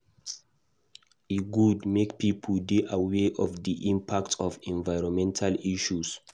E good make pipo dey aware of di impact of environmental issues.